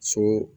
So